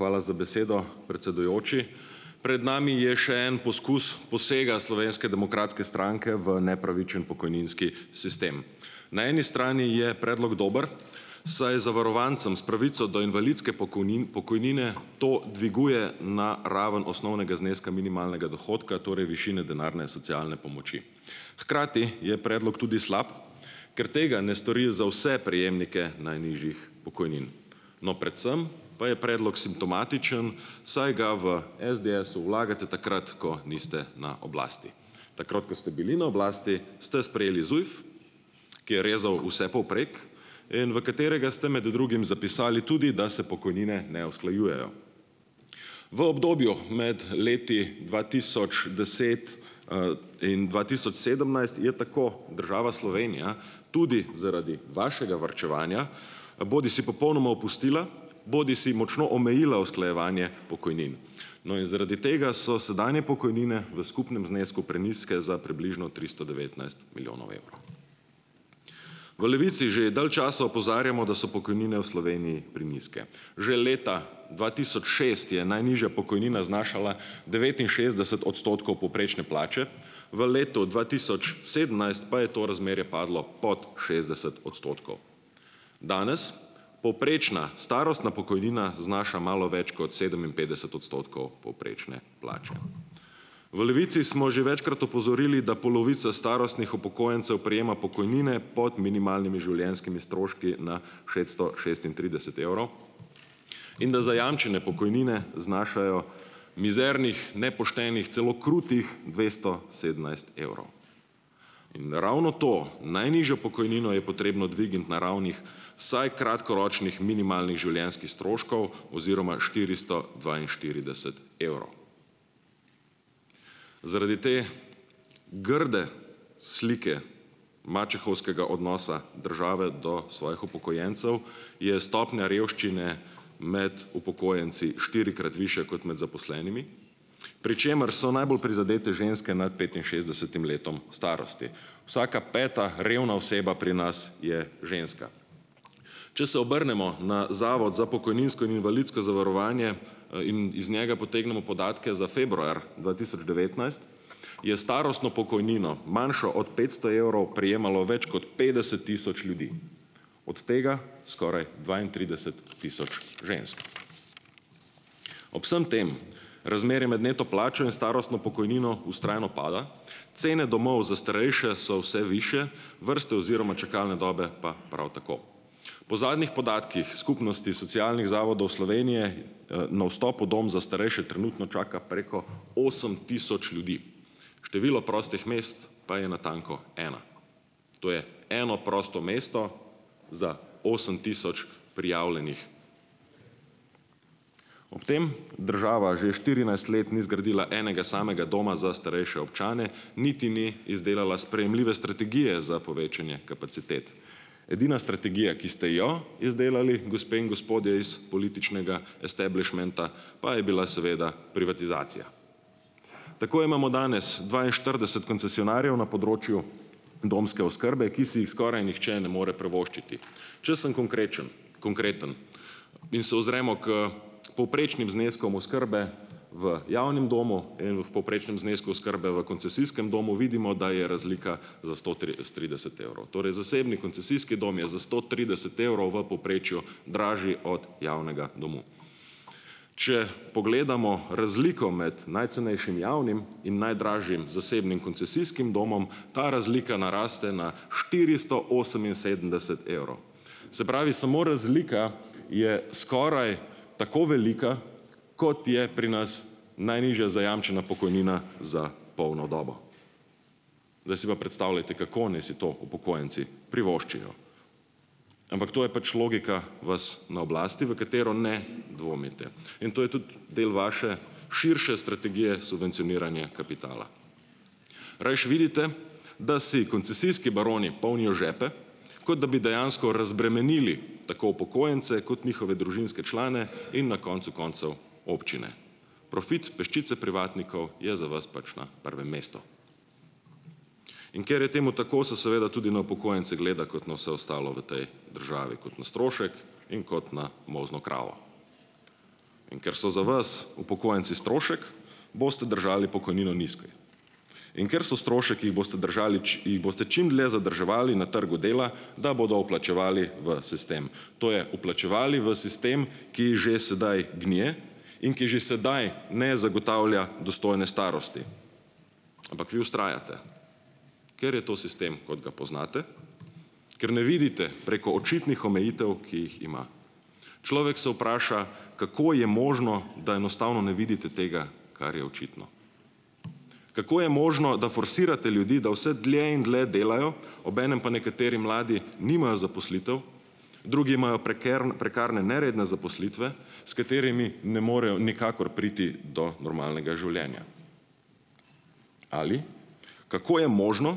Hvala za besedo, predsedujoči, pred nami je še en poskus posega Slovenske demokratske stranke v nepravičen pokojninski sistem, na eni strani je predlog dober, saj je zavarovancem s pravico do invalidske pokojnine to dviguje na raven osnovnega zneska minimalnega dohodka, torej višine denarne socialne pomoči, hkrati je predlog tudi slab, ker tega ne stori za vse prejemnike najnižjih pokojnin, no, predvsem pa je predlog simptomatičen, saj ga v SDS-u vlagate takrat, ko niste na oblasti, takrat, ko ste bili na oblasti, ste sprejeli ZUJF, ki je rezal vse povprek in v katerega ste med drugim zapisali tudi, da se pokojnine ne usklajujejo v obdobju med leti dva tisoč deset, in dva tisoč sedemnajst, je tako država Slovenija tudi zaradi vašega varčevanja bodisi popolnoma opustila bodisi močno omejila usklajevanje pokojnin, no, in zaradi tega so sedanje pokojnine v skupnem znesku prenizke za približno tristo devetnajst milijonov evrov, v Levici že dalj časa opozarjamo, da so pokojnine v Sloveniji prenizke, že leta dva tisoč šest je najnižja pokojnina znašala devetinšestdeset odstotkov najnižje plače, v letu dva tisoč sedemnajst pa je to razmerje padlo pod šestdeset odstotkov. Danes povprečna starostna pokojnina znaša malo več kot sedeminpetdeset odstotkov povprečne plače, v Levici smo že večkrat opozorili, da polovica starostnih upokojencev prejema pokojnine pod minimalnimi življenjskimi stroški na šeststo šestintrideset evrov in da zajamčene pokojnine znašajo mizernih, nepoštenih, celo krutih dvesto sedemnajst evrov, in ravno to najnižjo pokojnino je potrebno dvigniti na raven, saj kratkoročnih minimalnih življenjskih stroškov oziroma štiristo dvainštirideset evrov, zaradi te grde slike mačehovskega odnosa države do svojih upokojencev je stopnja revščine med upokojenci štirikrat višja kot med zaposlenimi, pri čemer so najbolj prizadete ženske nad petinšestdesetim letom starosti, vsaka peta revna oseba pri nas je ženska, če se obrnemo na zavod za pokojninsko in invalidsko zavarovanje, in iz njega potegnemo podatke za februar dva tisoč devetnajst, je starostno pokojnino manjšo od petsto evrov prejemalo več kot petdeset tisoč ljudi, od tega skoraj dvaintrideset tisoč žensk. Ob vsem tem razmerje med neto plačo in starostno pokojnino vztrajno pada, cene domov za starejše so vse višje, vrste oziroma čakalne dobe pa prav tako po zadnjih podatkih skupnosti socialnih zavodov Slovenije, na vstopu dom za starejše trenutno čaka preko osem tisoč ljudi, število prostih mest pa je natanko ena, to je eno prosto mesto za osem tisoč prijavljenih, ob tem država še štirinajst let ni zgradila enega samega doma za starejše občane niti ni izdelala sprejemljive strategije za povečanje kapacitet, edina strategija, ki ste jo izdelali, gospe in gospodje, iz političnega establišmenta pa je bila seveda privatizacija, tako imamo danes dvainštirideset koncesionarjev na področju domske oskrbe, ki si jih skoraj nihče ne more privoščiti, če sem konkrečn, konkreten, in se uzremo k povprečnim zneskom oskrbe v javnem domu in v povprečnem znesku oskrbe v koncesijskem domu, vidimo, da je razlika za sto trideset evrov, torej zasebni koncesijski dom je za sto trideset evrov v povprečju dražji od javnega doma, če pogledamo razliko med najcenejšim javnim in najdražjim zasebnim koncesijskim domom, ta razlika naraste na štiristo oseminsedemdeset evrov, se pravi, samo razlika je skoraj tako velika, kot je pri nas najnižja zajamčena pokojnina za polno dobo, zdaj si pa predstavljajte, kako naj si to upokojenci privoščijo, ampak to je pač logika vas na oblasti, v katero ne dvomite, in to je tudi del vaše širše strategije subvencioniranja kapitala, rajši vidite, da si koncesijski baroni polnijo žepe, kot da bi dejansko razbremenili tako upokojence kot njihove družinske člane in na koncu koncev občine, profit peščice privatnikov je za vas pač na prvem mestu, in ker je temu tako, se seveda tudi na upokojence gleda kot na vse ostalo v tej državi kot na strošek in kot na molzno kravo, in ker so za vas upokojenci strošek, boste držali pokojnino nizko, in ker so strošek, ki jih boste držali jih boste čimdlje zadrževali na trgu dela, da bodo vplačevali v sistem, to je vplačevali v sistem, ki že sedaj gnije in ki že sedaj ne zagotavlja dostojne starosti, ampak vi vztrajate, ker je to sistem, kot ga poznate, ker ne vidite preko očitnih omejitev, ki jih ima, človek se vpraša, kako je možno, da enostavno ne vidite tega, kar je očitno, kako je možno, da forsirate ljudi, da vse dlje in dlje delajo, obenem pa nekateri mladi nimajo zaposlitev, drugi imajo prekarne neredne zaposlitve, s katerimi ne morejo nikakor priti do normalnega življenja, ali kako je možno,